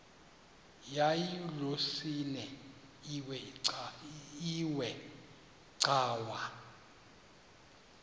yayilolwesine iwe cawa